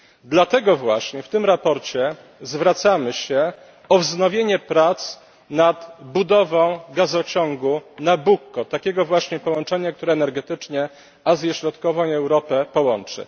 Dlatego właśnie w tym sprawozdaniu zwracamy się o wznowienie prac nad budową gazociągu Nabucco takiego właśnie połączenia, które energetycznie Azję Środkową i Europę połączy.